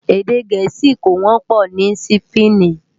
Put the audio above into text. Èdè Gẹẹsi kó wọpọ ni Sípéènì.